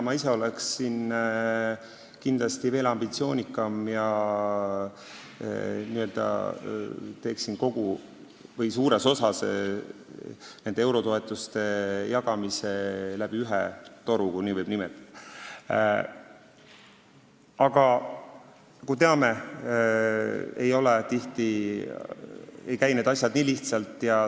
Ma ise oleksin veel ambitsioonikam ja teeksin nende eurotoetuste jagamise suuresti läbi ühe toru, kui nii võib nimetada, aga nagu me teame, ei käi asjad tihti nii lihtsalt.